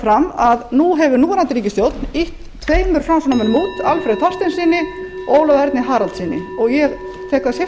fram að nú hefur núverandi ríkisstjórn ýtt tveimur framsóknarmönnum út alfreð þorsteinssyni og ólafi erni haraldssyni ég tek það sérstaklega